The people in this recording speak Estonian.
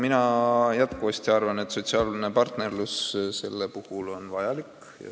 Mina jätkuvasti arvan, et sotsiaalne partnerlus sellel puhul on vajalik.